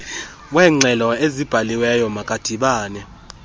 weengxelo ezibhaliweyo makadibane